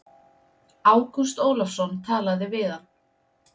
Ágúst Ólafsson talaði við hann.